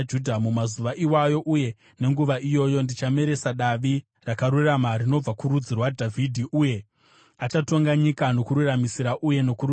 “ ‘Mumazuva iwayo uye nenguva iyoyo ndichameresa Davi rakarurama rinobva kurudzi rwaDhavhidhi; iye achatonga nyika nokururamisira uye nokururama.